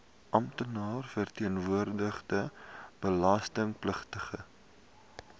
amptenaar verteenwoordigende belastingpligtige